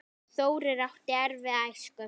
Þórir átti erfiða æsku.